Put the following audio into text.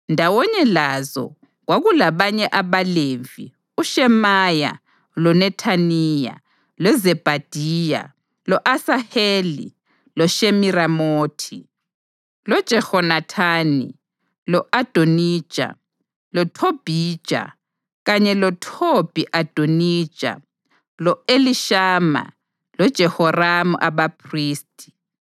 Ndawonye lazo kwakulabanye abaLevi uShemaya loNethaniya, loZebhadiya, lo-Asaheli, loShemiramothi, loJehonathani, lo-Adonija, loThobhija kanye loThobhi-Adonija lo-Elishama loJehoramu abaphristi.